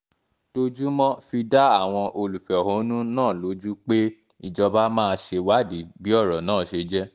dojúmọ́ fi dá àwọn olùfẹ̀hónú náà lójú pé ìjọba máa ṣèwádìí bí ọ̀rọ̀ náà ṣe jẹ́